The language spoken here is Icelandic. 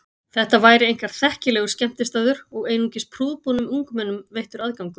Þetta væri einkar þekkilegur skemmtistaður og einungis prúðbúnum ungmennum veittur aðgangur.